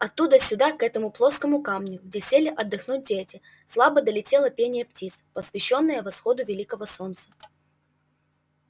оттуда сюда к этому плоскому камню где сели отдохнуть дети слабо долетело пение птиц посвящённое восходу великого солнца